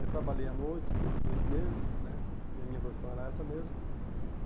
Aí trabalhei a noite, do dois meses né, e a minha profissão era essa mesmo.